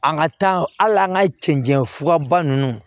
An ka taa hali an ka cɛncɛn fura ba ninnu